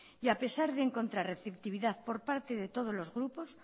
y a pesar de encontrar receptividad por parte de todos los grupos